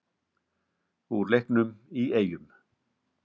Úr leiknum í Eyjum.